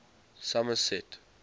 somerset